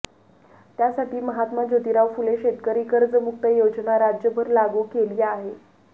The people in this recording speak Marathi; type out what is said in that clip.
त्यासाठी महात्मा जोतिराव फुले शेतकरी कर्जमुक्त योजना राज्यभर लागू केली आहे